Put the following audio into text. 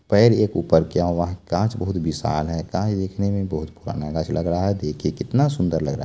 पैर एक ऊपर किया हुआ है गाछ बहुत विशाल है गाछ देखने में बहुत पुराना गाछ लग रहा है देखिए कितना सुंदर लग रहा है।